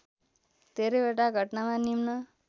धेरैवटा घटनामा निम्न